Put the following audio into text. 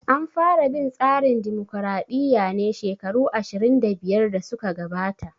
An fara bin tsarin dimokraɗiya ne shekaru 25 da suka gabata